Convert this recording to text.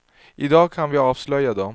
I dag kan vi avslöja dem.